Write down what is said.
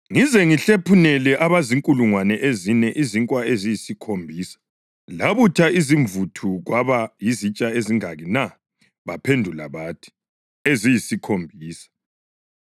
“Ngize ngihlephunele abazinkulungwane ezine izinkwa eziyisikhombisa labutha imvuthu kwaba yizitsha ezingaki na?” Baphendula bathi, “Eziyisikhombisa.”